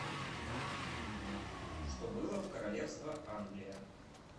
что было в королевство англия